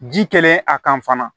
Ji kelen a kan fana